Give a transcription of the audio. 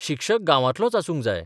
शिक्षक गांवांतलोच आसूंक जाय.